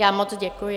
Já moc děkuji.